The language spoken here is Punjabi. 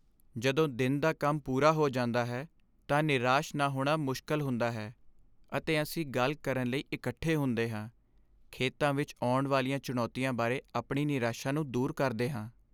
ਜਦੋਂ ਦਿਨ ਦਾ ਕੰਮ ਪੂਰਾ ਹੋ ਜਾਂਦਾ ਹੈ ਤਾਂ ਨਿਰਾਸ਼ ਨਾ ਹੋਣਾ ਮੁਸ਼ਕਲ ਹੁੰਦਾ ਹੈ, ਅਤੇ ਅਸੀਂ ਗੱਲ ਕਰਨ ਲਈ ਇਕੱਠੇ ਹੁੰਦੇ ਹਾਂ, ਖੇਤਾਂ ਵਿੱਚ ਆਉਣ ਵਾਲੀਆਂ ਚੁਣੌਤੀਆਂ ਬਾਰੇ ਆਪਣੀ ਨਿਰਾਸ਼ਾ ਨੂੰ ਦੂਰ ਕਰਦੇ ਹਾਂ।